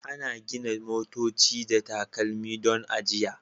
Ana gina motoci da takalmi don ajiya